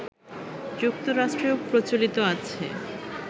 যুক্তরাষ্ট্রেও প্রচলিত আছে